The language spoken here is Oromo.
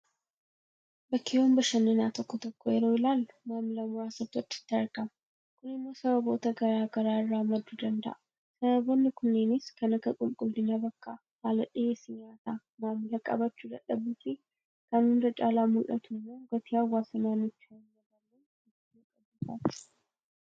Bakkeewwan bashannanaa tokko tokko yeroo ilaallu maamila muraasatu achitti argama. Kun immoo sababoota garaa garaa irraa madduu danda'a. Sababoonni kunneenis kan akka qulqullina bakkaa, haala dhiyeessii nyaataa, maamila qabachuu dadhabuufi kan hunda caala mul'atu immoo gatii hawaasa naannichaa hinmadaalleen hojii jalqabuu fa'aati.